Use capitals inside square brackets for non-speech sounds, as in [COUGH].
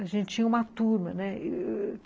A gente tinha uma turma, né? [HESITATION]